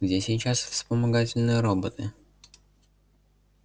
где сейчас вспомогательные роботы